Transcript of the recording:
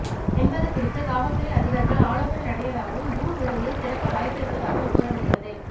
என்பது குறித்து கல்வித்துறை அதிகாரிகள் ஆலோசனை நடத்தியதாகவும் ஜூன் இறுதியில் திறக்க வாய்ப்பு இருப்பதாகவும் கூறப்படுகிறது